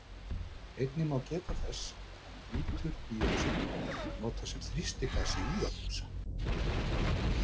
Einnig má geta þess að niturdíoxíð er notað sem þrýstigas í úðabrúsa.